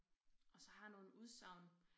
Og så har jeg nogle udsagn